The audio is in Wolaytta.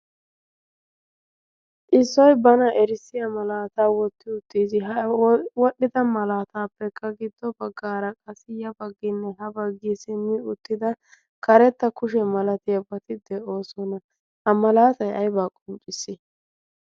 xissoi bana erissiya malaataa wotti uttiis h wodhdhida malaataappekka giddo baggaara qasi yafagginne ha baggii simmi uttida karetta kushe malatia boti de'oosona a malaatai aybaa qoncciss